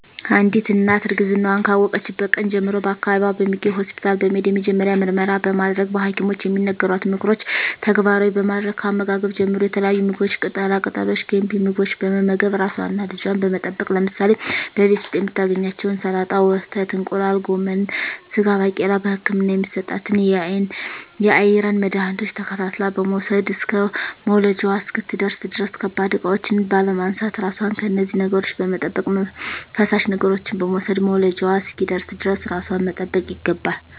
አንዲት እናት እርግዝናዋን ካወቀችበት ቀን ጀምሮ በአካባቢዋ በሚገኝ ሆስፒታል በመሄድ የመጀመሪያ ምርመራ በማድረግ በሀኪሞች የሚነገሯትን ምክሮች ተግባራዊ በማድረግ ከአመጋገብ ጀምሮ የተለያዩ ምግቦች ቅጠላ ቅጠሎች ገንቢ ምግቦች በመመገብ ራሷንና ልጇን በመጠበቅ ለምሳሌ በቤት ዉስጥ የምታገኛቸዉን ሰላጣ ወተት እንቁላል ጎመን ስጋ ባቄላ በህክምና የሚሰጣትን የአይረን መድሀኒቶች ተከታትላ በመዉሰድ እስከ መዉለጃዋ እስክትደርስ ድረስ ከባድ እቃዎች ባለማንሳት ራሷን ከነዚህ ነገሮች በመጠበቅ ፈሳሽ ነገሮችን በመዉሰድ መዉለጃዋ እስኪደርስ ድረስ ራሷን መጠበቅ ይገባል